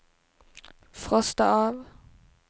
frosta av